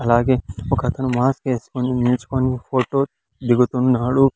అలాగే ఒకతను మాస్క్ ఎస్కొని నిల్చుకుని ఫోటో దిగుతున్నాడు.